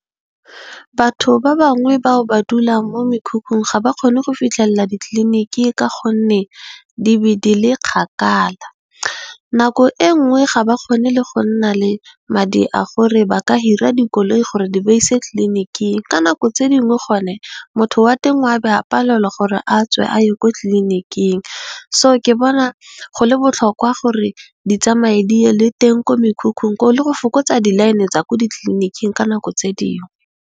Batho ba bangwe bao ba dula mo mekhukhung ga ba kgone go fitlhelela ditliliniki ka gonne, di be di le kgakala nako e nngwe ga ba kgone le go nna le madi a gore ba ka hira dikoloi gore di ba ise tlliniking ka nako tse dingwe gone motho wa teng o a be a palelwa gore a tswe a ye ko tlliniking. Ke bona go le botlhokwa gore di tsamaye di ye le teng ko mekhukhung le go fokotsa di line tsa ko ditliliniking ka nako tse dingwe.